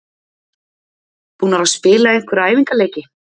Búnar að spila einhverja æfingaleiki?